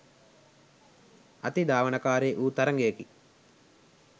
අතිධාවනකාරී වූ තරඟයකි.